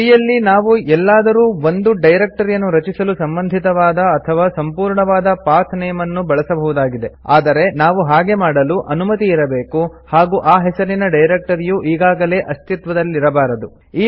ಟ್ರೀಯಲ್ಲಿ ನಾವು ಎಲ್ಲಾದರೂ ಒಂದು ಡೈರೆಕ್ಟರಿಯನ್ನು ರಚಿಸಲು ಸಂಬಂಧಿತವಾದ ಅಥವಾ ಸಂಪೂರ್ಣವಾದ ಪಾತ್ ನೇಮ್ ಅನ್ನು ಬಳಸಬಹುದಾಗಿದೆ ಆದರೆ ನಾವು ಹಾಗೆ ಮಾಡಲು ಅನುಮತಿ ಇರಬೇಕು ಹಾಗೂ ಆ ಹೆಸರಿನ ಡೈರೆಕ್ಟರಿಯು ಈಗಾಗಲೇ ಅಸ್ತಿತ್ವದಲ್ಲಿರಬಾರದು